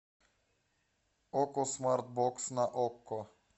окко смарт бокс на окко